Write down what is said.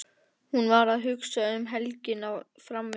Hún var að hugsa um helgina framundan.